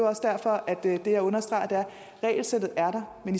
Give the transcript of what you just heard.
også derfor at det jeg understreger er at regelsættet er der men